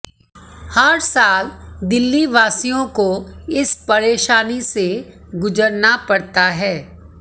हर साल दिल्लीवासियों को इस परेशानी से गुजरना पड़ता है